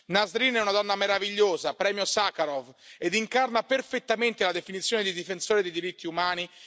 Nasrin è una donna meravigliosa, premio Sacharov, ed incarna perfettamente la definizione di difensore dei diritti umani.